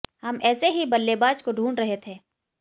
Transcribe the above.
हम ऐसे ही बल्लेबाज को ढूंढ रहे थे